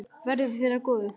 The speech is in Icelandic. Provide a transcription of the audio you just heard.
Verði þér að góðu.